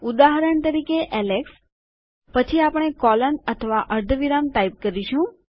ઉદાહરણ તરીકે એલેક્સ પછી આપણે કોલોન અથવા અર્ધવિરામ ટાઈપ કરીશું